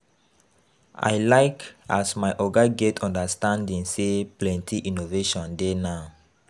I like as my oga get understanding sey plenty innovation dey now.